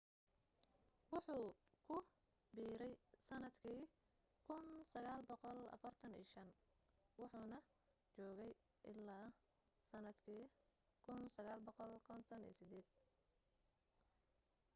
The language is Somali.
wuxuu ku biirey sanadkii 1945 wuxuuna joogay ilaa sanadkii 1958